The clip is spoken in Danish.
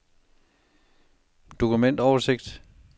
dokumentoversigt